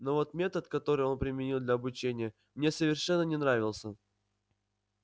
но вот метод который он применил для обучения мне совершенно не нравился